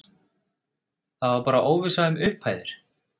Það var bara óvissa um upphæðir?